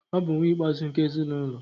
ọ bu nwa ikpe-azu nke ezi n'ulo